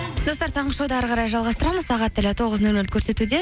достар таңғы шоуды әрі қарай жалғастырамыз сағат тілі тоғыз нөл нөлді көрсетуде